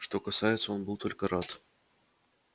что касается он был только рад